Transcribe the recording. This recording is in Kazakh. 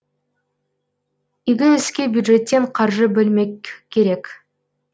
игі іске бюджеттен қаржы бөлмек керек